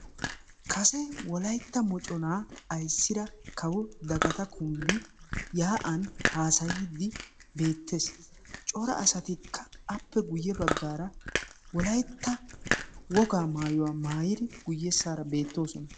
Kase wolaytta moconaa ayssidi bitanee kawo dagato kumbbee yaa'aan haasayiidi beettes. cora asatikka appe guyye baggaara wolaytta wogaa maayuwaa maayidi guyyessara beettoosona.